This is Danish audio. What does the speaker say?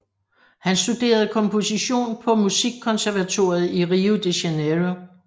Han studerede komposition på Musikkonservatoriet i Rio de Janeiro